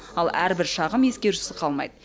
ал әрбір шағым ескерусіз қалмайды